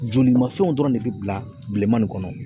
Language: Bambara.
Jolimafɛnw dɔrɔn de bɛ bila bilenman nin kɔnɔ